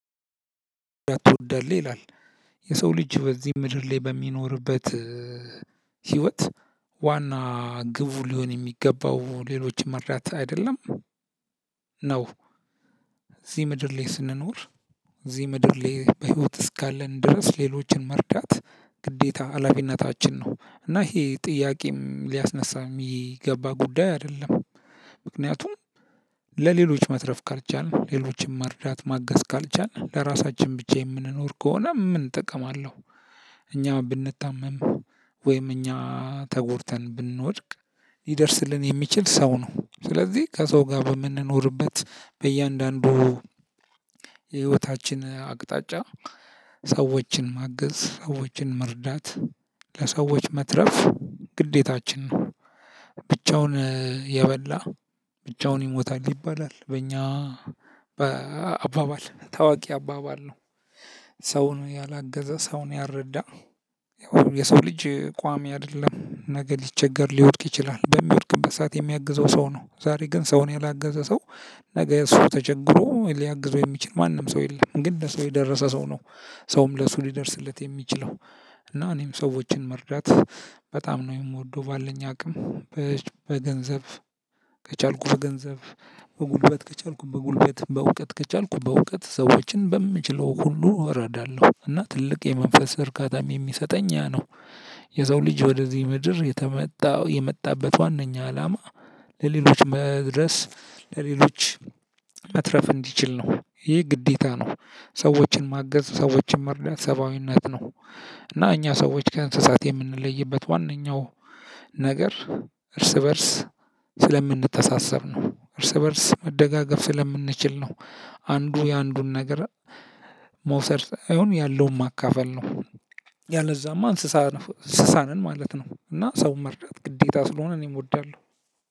ትወዳለህ ይላል የሰው ልጅ በዚህ ምድር ላይ በሚኖርበት ህይወት ዋና ግቡ ሊሆን የሚገባው ሌሎችም መርዳት አይደለም። ነው። እዚ ምድር ላይ ስንኖር እዚ ምድር ላይ እስካለን በህይወት እስካለን ድረስ ሌሎችን መርዳት ግዴታ ሃላፊነታችን ነው እና ይሄ ጥያቄም ሊያስነሳም የሚገባ ጉዳይ አይደለም። ምክንያቱም ለሌሎች መትረፍ ካልቻልን ሌሎችንም መርዳት ማጋዝ ካልቻልን ለራሳችን ብቻ የምንኖር ከሆነ ምን ጥቅም አለው? እኛ ብንታመም ወይም እኛ ተጎድተን ብንወድቅ ሊደርስልን የሚችል ሰው ነው። ስለዚህ ከሰው ጋር በምንኖርበት በእያንዳንዱ የህይወታችን አቅጣጫ ሰዎችን ማገዝ ሰዎችን መርዳት ለሰዎች መትረፍ ግዴታችን ነው። ብቻውን የበላ ብቻውን ይሞታል ይባላል በእኛ በአባባል ታዋቂ አባባል ነው። ሰውን ያላገዘ ሰውን ያልረዳ የሰው ልጅ ቋሚ አይደለም። ነገ ሊቸገር ሊወድቅ ይችላል በሚወድቅበት ሰዓት የሚያግዘው ሰው ነው። ዛሬ ግን ሰውን ያላገዘ ሰው ነገ እሱ ተቸግሮ ሊያግዘው የሚችል ማንም ሰው የለም። ግን ለሰው የደረሰ ሰው ነው። ሰውም ለሱ ሊደርስለት የሚችለው። እና እኔም ሰዎችን መርዳት በጣም ነው የምወደው ባለኝ አቅም በገንዘብ ከቻልኩ ገንዘብ በጉልበት ከቻልኩ በጉልበት በእውቀት ከቻልኩ በእውቀት ሰዎችን በምችለው ሁሉ እረዳለሁ። እና ትልቅ የመንፈስ እርካታም የሚሰጠኝ ያ ነው። የሰው ልጅ ወደዚህ ምድር የተመጣው የመጣበት ዋነኛ አላማ ለሌሎች መድረስ ለሌሎች መትረፍ እንዲችል ነው። ይሄ ግዴታ ነው። ሰዎችን ማገዝ ሰዎችን መርዳት ሰብአዊነት ነው። እና እኛ ሰዎች ከእንስሳት የምንለይበት ዋነኛው ነገር እርስበርስ ስለምንተሳሰብ ነው። እርስበርስ መደጋገፍ ስለምንችል ነው። አንዱ የአንዱን ነገር መውሰድ ሳይሆን ያለውን ማካፈል ነው። ያለዛማ እንስሳ እንስሳ ነን ማለት ነው። እና ሰው መርዳት ግዴታ ስለሆነ እኔም እወዳለሁ።